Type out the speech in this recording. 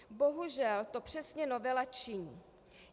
Bohužel to přesně novela činí.